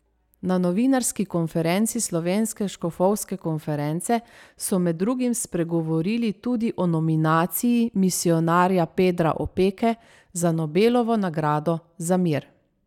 Na novinarski konferenci Slovenske škofovske konference so med drugim spregovorili tudi o nominaciji misijonarja Pedra Opeke za Nobelovo nagrado za mir.